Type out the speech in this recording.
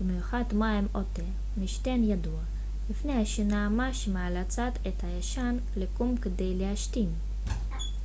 במיוחד מים או תה משתן ידוע לפני השינה מה שמאלצת את הישן לקום כדי להשתין